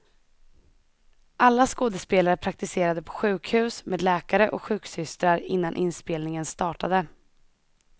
Alla skådespelare praktiserade på sjukhus med läkare och sjuksystrar innan inspelningen startade.